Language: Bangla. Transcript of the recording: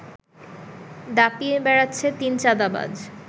দাপিয়ে বেড়াচ্ছে তিন চাঁদাবাজ